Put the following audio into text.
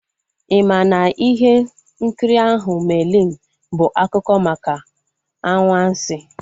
I maa na ihe nkiri ahụ "Merlin" bụ akụkọ maka anwansi?